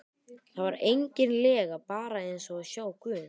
Það var eigin lega bara eins og að sjá guð.